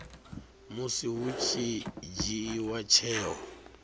musi hu tshi dzhiiwa tsheo